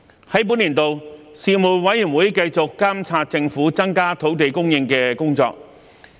在本年度，事務委員會繼續監察政府增加土地供應的工作。